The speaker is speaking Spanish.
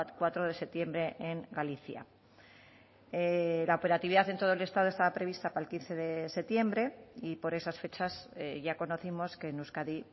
cuatro de septiembre en galicia la operatividad en todo el estado estaba prevista para el quince de septiembre y por esas fechas ya conocimos que en euskadi